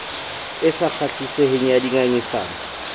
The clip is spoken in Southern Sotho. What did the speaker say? e sa kgahliseng ya dingangisano